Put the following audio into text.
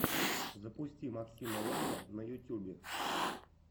запусти максима лэйна на ютюбе